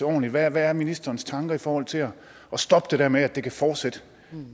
ordentligt hvad er ministerens tanker i forhold til at stoppe det der med at det kan fortsætte